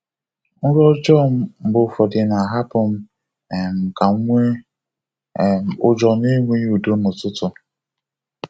Nrọ ọjọọ mgbe ụfọdụ na-ahapụ m um ka m nwee um ụjọ na enweghị udo n'ụtụtụ.